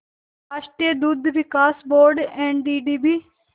राष्ट्रीय दुग्ध विकास बोर्ड एनडीडीबी